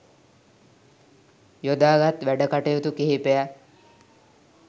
යොදාගත් වැඩකටයුතු කිහිපයක්